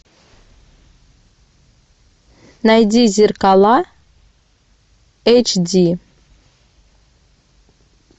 найди зеркала эйч ди